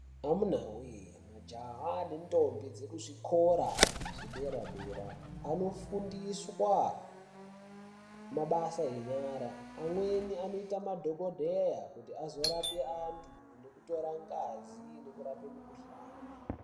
Amunawee majaha nendombi dzekuzvikora zvedera dera anofundiswa mabasa enyara amweni anoita madhokodheya kuti azorape antu nekutora ngazi nekurapa mukuhlani.